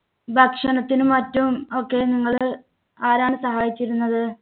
ഭക്ഷണത്തിനും മറ്റും ഒക്കെ നിങ്ങള് ആരാണ് സഹായിച്ചിരുന്നത്?